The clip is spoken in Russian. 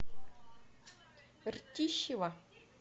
ртищево